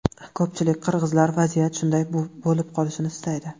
Ko‘pchilik qirg‘izlar vaziyat shunday bo‘lib qolishini istaydi.